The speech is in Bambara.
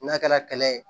N'a kɛra ye